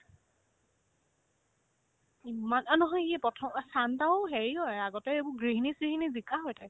ইমান ! আৰ্ ই নহয় প্ৰথম অহ্ ছান্টাও হেৰি হয় আগতে এইবোৰ গৃহীনি-চিহীনি জিকা হয় তাই